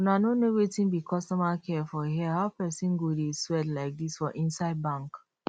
una no know wetin be customer care for here how person go dey sweat like this for inside bank